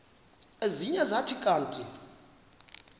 ezinye zathi kanti